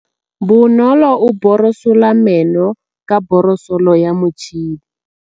Bonolô o borosola meno ka borosolo ya motšhine.